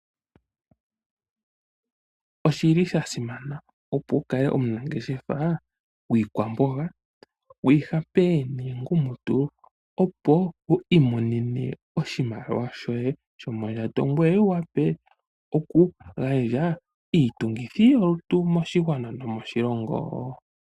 Oshili shasimana opo wukale omunangeshefa wiikwamboga, wiihape niikungumutula opo wiimonene oshimaliwa shoye shomondjato, ngoye wuwape okugandja iitungithilutu moshigwana.